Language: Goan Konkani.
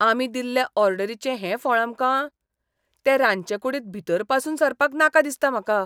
आमी दिल्ले ऑर्डरीचें हें फळ आमकां? ते रांदचेकुडींत भीतर पासून सरपाक नाका दिसता म्हाका.